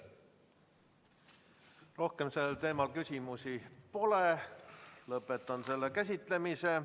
Rohkem sellel teemal küsimusi pole, lõpetan selle käsitlemise.